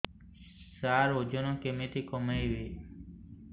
ସାର ଓଜନ କେମିତି କମେଇବି